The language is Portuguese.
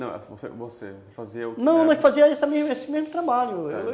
Não, você você fazia... Não, nós fazíamos esse mesmo trabalho.